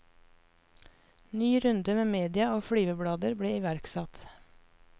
Ny runde med media og flyveblader ble iverksatt.